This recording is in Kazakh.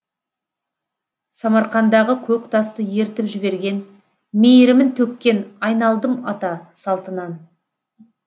самарқандағы көк тасты ерітіп жіберген мейірімін төккен айналдым ата салтынан